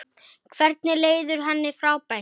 Hvorug leiðin virtist fær.